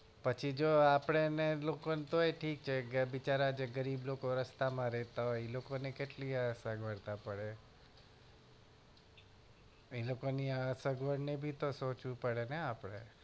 પછી જો આપડે જો એ લોકોને તોય ઠીક છે જો ગરીબ લોકો રસ્તામાં રેહતા હોય એમને એટલી અક્વળતા પડે એ લોકોની સગવડ ને પણ સોચવું પડે ને આપડે